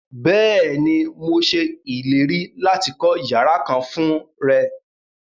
Bẹ́ẹ̀ni, mo ṣẹ ilẹ̀rí láti kọ yàrà kán fún rẹ.